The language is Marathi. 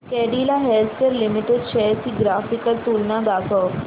कॅडीला हेल्थकेयर लिमिटेड शेअर्स ची ग्राफिकल तुलना दाखव